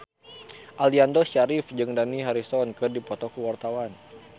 Aliando Syarif jeung Dani Harrison keur dipoto ku wartawan